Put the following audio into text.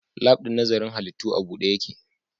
Lab ɗin nazarin halittu a buɗe yake